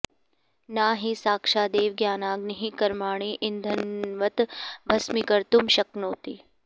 न हि साक्षादेव ज्ञानाग्निः कर्माणि इन्धनवत् भस्मीकर्तुं शक्नोति